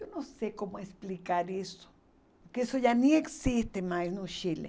Eu não sei como explicar isso, porque isso já nem existe mais no Chile.